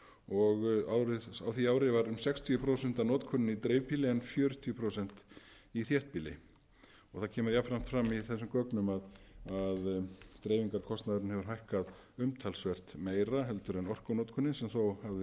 og á því ár var um sextíu prósent af notkuninni í dreifbýli en fjörutíu prósent í þéttbýli það kemur jafnframt fram í þessum gögnum að dreifingarkostnaðurinn hefur hækkað umtalsvert meira heldur en orkunotkunin sem þó hafði